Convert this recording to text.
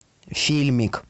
фильмик